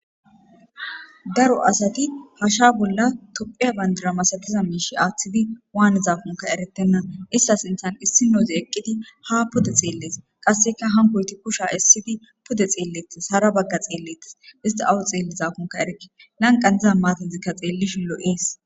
Daro asati hasha bola tophiya bandira masatiza mishe athidi wanizakoka eretena ista sinthan issinozi eqidi ha pude xeles hankoyti qasseka kushan esidi hara baga xeletes isti awa xelizakonka erike lanqan diza matazika xilishin lo'es